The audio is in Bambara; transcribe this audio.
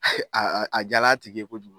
A jal'a tigi ye kojugu